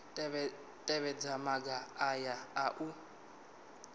tevhedza maga aya a u